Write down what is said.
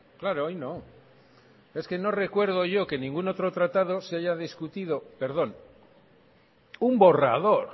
claro hoy no es que no recuerdo yo que ningún otro tratado se haya discutido perdón un borrador